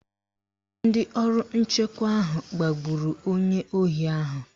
Ndị ọrụ nchekwa ahụ gbagburu onye ohi ahụ.